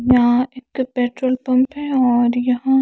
यहा एक petrol pump है और यहा --